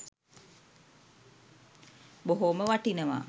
බොහෝම වටිනවා.